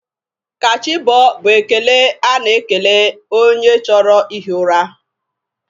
Ka chi bọọ bụ ekele a na-ekele onye choro i hi ura.